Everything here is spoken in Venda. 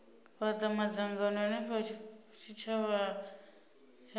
fhata madzangano henefho zwitshavha zwi